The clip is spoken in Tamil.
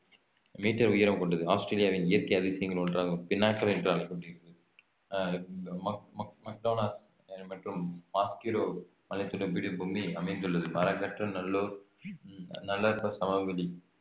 மீட்டர் உயரம் கொண்டது. ஆஸ்திரேலியாவின் இயற்கை அதிசயங்களில் ஒன்றாகும் பெனாட்டர் என்று அழைக்கப்படுகிறது அஹ் மக் மக் மக்டொனல் மற்றும் மாஸ்கிரோவ் மலைத்தொடர் பீடபூமி அமைந்துள்ளது நல்லூர் நல்லறப்ப சமவெளி